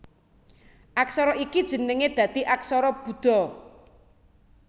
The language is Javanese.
Aksara ini jenengé dadi aksara Buda